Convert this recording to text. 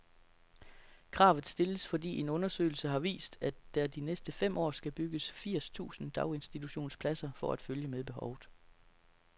Kravet stilles, fordi en undersøgelse har vist, at der de næste fem år skal bygges firs tusind daginstitutionspladser for at følge med behovet.